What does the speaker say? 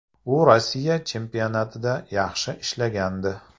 U Rossiya chempionatida yaxshi ishlagandi.